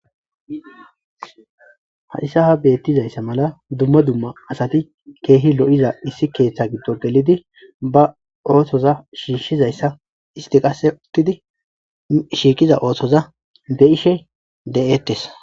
ha issa ha beettizayssa mala dumma dumma asati keehi lo7iza issi keeththa giddo gelidi ba ootoza shiishizayssa isti qase uttidi shiiqiza ootoza be ishe de7eettes